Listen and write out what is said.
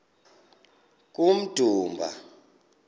kummdumba